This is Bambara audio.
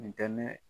Nin kɛ ne